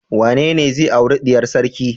Wanene zai auri diyar sarki?